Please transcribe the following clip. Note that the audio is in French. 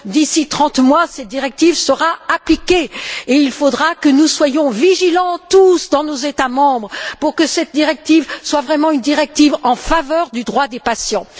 D'ici trente mois, cette directive sera appliquée et il faudra que nous soyons vigilants, tous, dans nos États membres pour que cette directive soit vraiment en faveur du droit des patients.